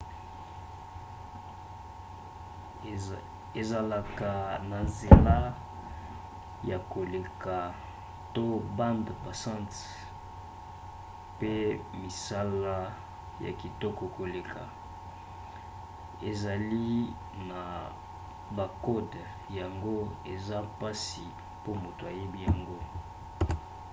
ezalaka na nzela ya koleka to bande passante pe misala ya kitoko koleka. ezali na bakode yango eza mpasi po moto ayiba yango